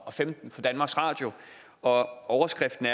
og femten fra danmarks radio og overskriften